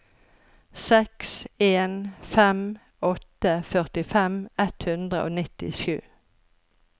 seks en fem åtte førtifem ett hundre og nittisju